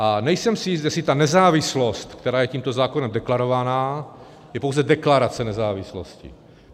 A nejsem si jist, jestli ta nezávislost, která je tímto zákonem deklarovaná, je pouze deklarace nezávislosti.